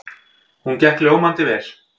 Hún gekk ljómandi vel.